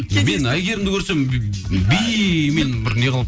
мен әйгерімді көрсем бимен бір неғылып